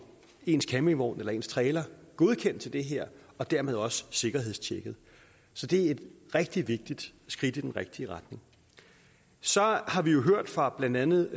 ens campingvogn eller ens trailer godkendt til det her og dermed også sikkerhedstjekket så det er et rigtig vigtigt skridt i den rigtige retning så har vi jo hørt fra blandt andet